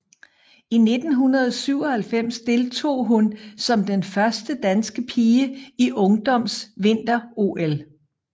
I 1997 deltog hun som den første danske pige i Ungdoms Vinter OL